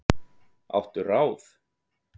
Áttu ráð?